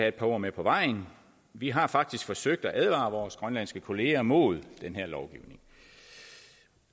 et par ord med på vejen vi har faktisk forsøgt at advare vores grønlandske kolleger mod den her lovgivning